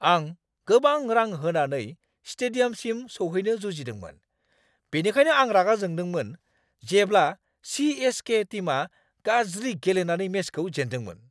आं गोबां रां होनानै स्टेडियामसिम सौहैनो जुजिदोंमोन, बेनिखायनो आं रागा जोंदोंमोन जेब्ला सि.एस.के. टिमआ गाज्रि गेलेनानै मेचखौ जेनदोंमोन।